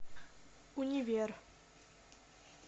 универ